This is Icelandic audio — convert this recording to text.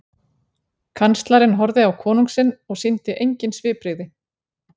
Kanslarinn horfði á konung sinn og sýndi engin svipbrigði.